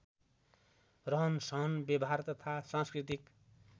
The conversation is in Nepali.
रहनसहन व्यवहार तथा सांस्कृतिक